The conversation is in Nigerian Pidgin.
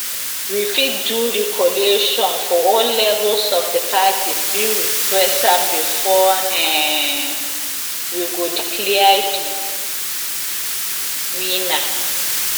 we fit do recollation for all levels if di parties bin request am bifor um we go declare di winner